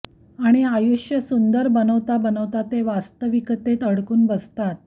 आणी आयुष सुंदर बनवता बनवता ते वास्तविकातेत अडकून बसतात